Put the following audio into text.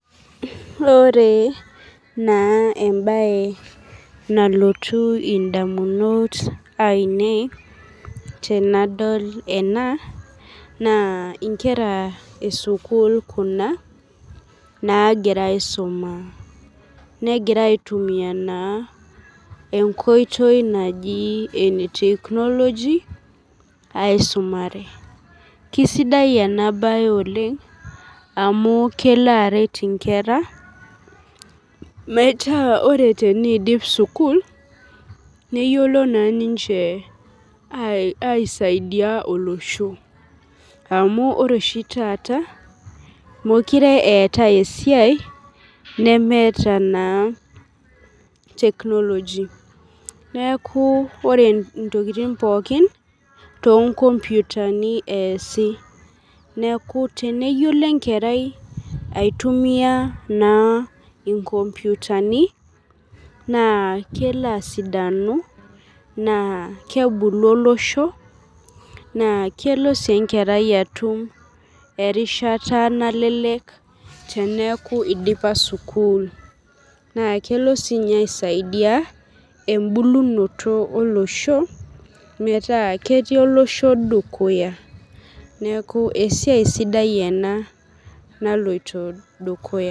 Ore na embae nalotu ndamunot ainei tanadol ena na inkera esukul kuna nagira aisumaa negira aitumia enkoitoi naji ene technology aisumare kesidai enabae oleng amu kelo aret nkera metaabore teneidip sukul neyiolo aisaidia olosho amu ore oshi taata mekure eetae esiai nemeeta na technology neaku ore ntokitin pookin na tonkomputani easi neaku teneyiolo enkerai aitumia na inkomputani na kelo asidanu na kebulu olosho na kelo enkerai atum erishata nalelek teneaku idipa sukul na kelo sinye aisaidia embulunoto olosho metaa ketii olosho dukuya neaku esiai sidai ena.